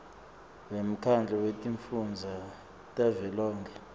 wemkhandlu wetifundza tavelonkhe